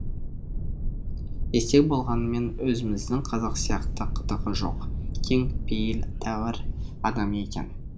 естек болғанымен өзіміздің қазақ сияқты қытығы жоқ кең пейіл тәуір адам екен